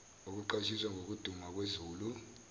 okuqwashisa ngokuduma kwezulu